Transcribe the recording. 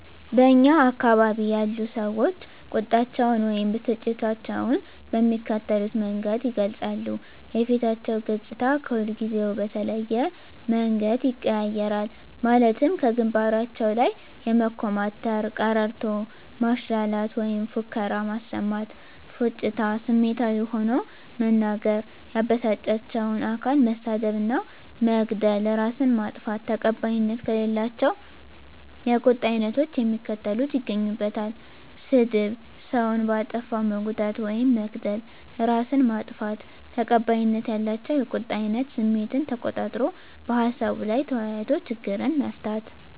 በእኛ አካባቢ ያሉ ሰዎች ቁጣቸውን ወይም ብስጭታቸውን በሚከተሉት መንገድ ይገልጻሉ:- የፊታቸው ገፅታ ከሁልጊዜው በተለየ መንገድ ይቀያየራል ማለትም ከግንባራቸው ላይ የመኮማተር፤ ቀረርቶ ማሽላላት ወይም ፉከራ ማሰማት፤ ፉጭታ፤ ስሜታዊ ሆኖ መናገር፤ ያበሳጫቸውን አካል መሳደብ እና መግደል፤ እራስን ማጥፋት። ተቀባይነት ከሌላቸው የቁጣ አይነቶች የሚከተሉት ይገኙበታል -ስድብ፤ ሰውን በአጠፋው መጉዳት ውይም መግደል፤ እራስን ማጥፋት። ተቀባይነት ያላቸው የቁጣ አይነት ስሜትን ተቆጣጥሮ በሀሳቡ ላይ ተወያይቶ ችግርን መፍታት።